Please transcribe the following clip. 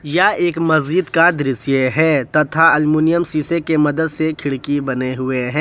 यह एक मस्जिद का दृश्य है तथा अल्युमिनियम शीशे के मदद से खिड़की बने हुए हैं।